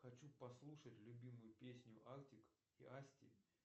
хочу послушать любимую песню артик и асти